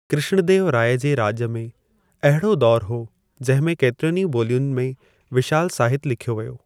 कृष्णदेवु राय जे राॼ में अहिड़ो दौरु हो जंहिं में केतिरियुनि ई ॿोलियुनि में विशालु साहितु लिख्यो वियो।